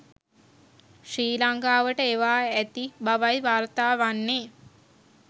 ශ්‍රී ලංකාවට එවා ඇති බවයි වාර්තා වන්නේ.